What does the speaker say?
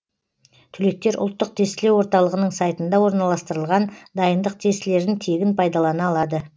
түлектер ұлттық тестілеу орталығының сайтында орналастырылған дайындық тестілерін тегін пайдалана алады